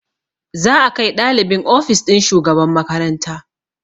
Za a kai ɗalibin ofis ɗin shugaban makaranta